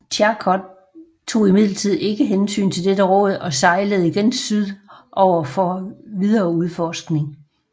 Charcot tog imidlertid ikke hensyn til dette råd og sejlede igen syd over for videre udforskning